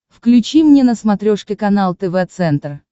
включи мне на смотрешке канал тв центр